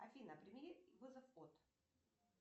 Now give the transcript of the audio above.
афина прими вызов от